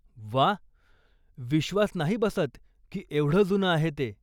व्वा, विश्वास नाही बसतं की एवढं जुनं आहे ते.